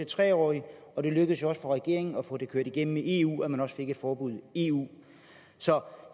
tre årige og det lykkedes jo også for regeringen at få det kørt igennem i eu så man også fik et forbud i eu så